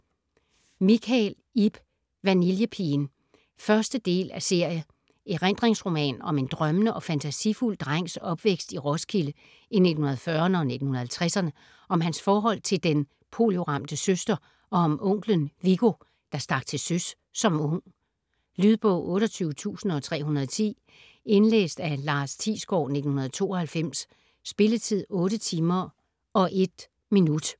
Michael, Ib: Vanillepigen 1. del af serie. Erindringsroman om en drømmende og fantasifuld drengs opvækst i Roskilde i 1940'erne og 1950'erne, om hans forhold til den polioramte søster og om onkelen, Viggo, der stak til søs som ung. Lydbog 28310 Indlæst af Lars Thiesgaard, 1992. Spilletid: 8 timer, 1 minutter.